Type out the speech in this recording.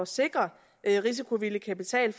sikre risikovillig kapital